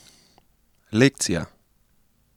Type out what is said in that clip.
Lekcija?